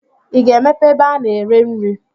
I ga-emepe ebe a na-ere nri?